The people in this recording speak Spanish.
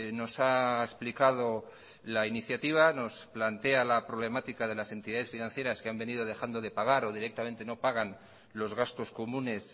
nos ha explicado la iniciativa nos plantea la problemática de las entidades financieras que han venido dejando de pagar o directamente no pagan los gastos comunes